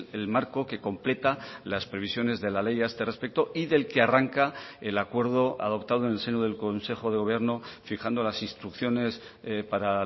el marco que completa las previsiones de la ley a este respecto y del que arranca el acuerdo adoptado en el seno del consejo de gobierno fijando las instrucciones para